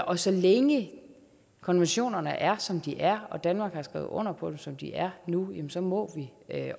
og så længe konventionerne er som de er og danmark har skrevet under på dem som de er nu jamen så må vi